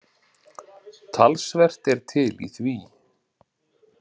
Talsvert er til í því.